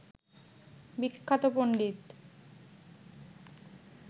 বিখ্যাত পন্ডিত